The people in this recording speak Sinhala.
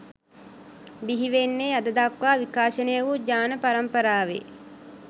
බිහිවෙන්නේ අද දක්වා විකාශනය වු ජාන පරම්පරාවෙ